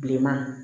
Bilenman